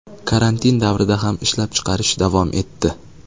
Karantin davrida ham ishlab chiqarish davom etdi.